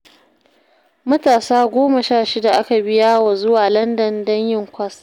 Matasa goma sha shida aka biya wa zuwa Landan don yin kwas